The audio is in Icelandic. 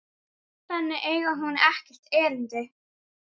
Þangað eigi hún ekkert erindi.